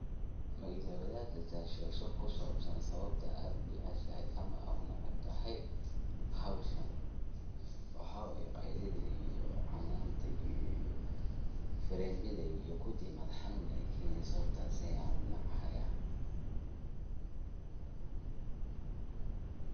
Waxa waye qeylida iyo cananta iyo firimida iyo kudii madax xanun ayey keneysa sawabtas ayan unacaya.